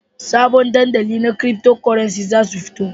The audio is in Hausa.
Sabbin dandali na Cryptocurrencies za su fito.